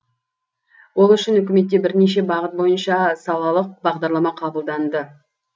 ол үшін үкіметте бірнеше бағыт бойынша салалық бағдарлама қабылданды